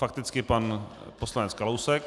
Fakticky pan poslanec Kalousek.